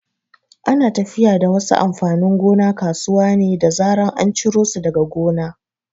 Ana tafiya da wasu amfanin gona kasuwa ne da zaran an ciro su daga gona.